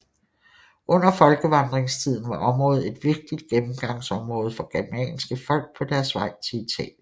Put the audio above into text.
Under folkevandringstiden var området et vigtigt gennemgangsområde for germanske folk på deres vej til Italien